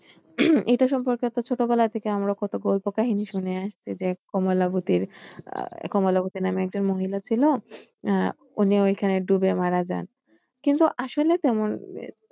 এটা সম্পর্কে আমরা ছোটবেলা থেকে কত গল্প কাহিনী শুনে আসছি যে কমলাবতীর আহ কমলাবতী নামে একজন মহিলা ছিল আহ উনি ওইখানে ডুবে মারা যান কিন্তু আসলে তেমন